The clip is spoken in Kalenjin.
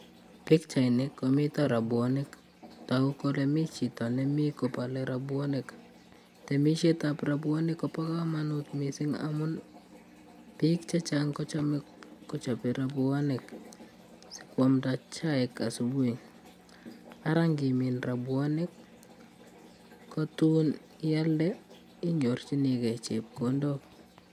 Pikchaini komito robuanik toku kole mi chito nemii kobolei robuanik temishet ab robuanik Kobo komonut mising amun piik chechang kochomei kochobei robuanik sikwamda chaik asubuhi Ara ngimin robuanik ko tuun ngialde inyorchigei chepkondok